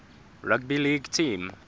rugby league team